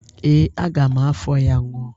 Ee, aga m afọ ya ñụa.